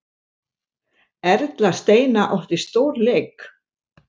Erla Steina átti stórleik